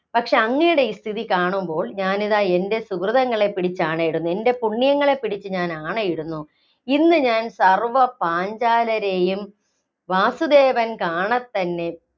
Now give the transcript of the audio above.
പക്ഷേ അങ്ങയുടെ ഈ സ്ഥിതി കാണുമ്പോള്‍ ഞാനിതാ എന്‍റെ സുകൃതങ്ങളെ പിടിച്ച് ആണയിടുന്നു, എന്‍റെ പുണ്യങ്ങളെ പിടിച്ച് ഞാന്‍ ആണയിടുന്നു. ഇന്ന് ഞാന്‍ സര്‍വ്വ പാഞ്ചാലരേയും വാസുദേവൻ കാണത്തന്നെ